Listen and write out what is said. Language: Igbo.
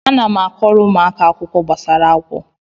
Ana m akọọrọ ụmụaka akụkọ gbasara agwọ